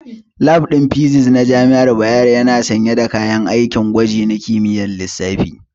Lab ɗin Physics na jami'ar Bayero yana sanye da kayan aikin gwaji na kimiyyar lissafi.